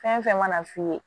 Fɛn fɛn mana f'i ye